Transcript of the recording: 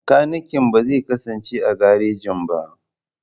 Makanikin ba zai kasance a garejin ba.